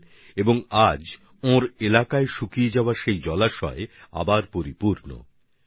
আজ সেখানকার সেই শুকিয়ে যাওয়া জলের উৎস ফের জলে ভরে উঠেছে